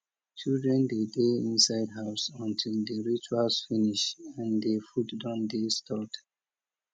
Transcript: children dey dey inside house until di rituals finish and di food don dey stored